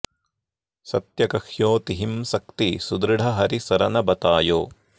सत्य कह्यो तिहिं सक्ति सुदृढ हरि सरन बतायो